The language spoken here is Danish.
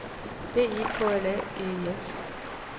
B E K L A G E S